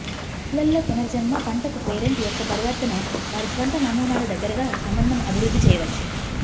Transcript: పిల్లల్లో పునర్జన్మ పంటకు పేరెంట్ యొక్క ప్రవర్తన వారి స్వంత నమూనాలు దగ్గరగా సంబంధం అభివృద్ధి చేయవచ్చు